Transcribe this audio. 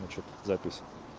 ну что тут запись